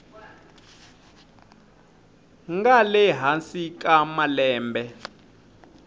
nga le hansi ka malembe